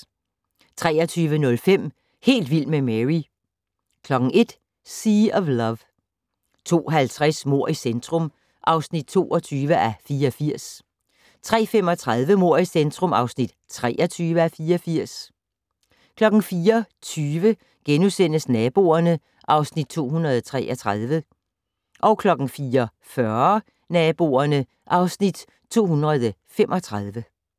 23:05: Helt vild med Mary 01:00: Sea of Love 02:50: Mord i centrum (22:84) 03:35: Mord i centrum (23:84) 04:20: Naboerne (Afs. 233)* 04:40: Naboerne (Afs. 235)